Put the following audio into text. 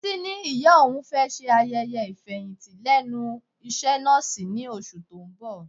Títí ní ìyá òun fẹ́ ṣe ayẹyẹ ifeyinti lẹ́nu iṣẹ́ nọ́ọ̀sì ní oṣù tó ń bọ̀.